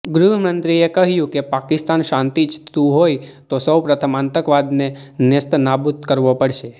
ગૃહમંત્રીએ કહ્યું કે પાકિસ્તાન શાંતિ ઇચ્છતું હોય તો સૌપ્રથમ આતંકવાદને નેસ્તનાબૂદ કરવો પડશે